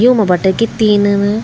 युमा बटै कि तीनन --